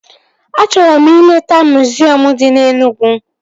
Achọrọ m ileta miziọm dị na Enugwu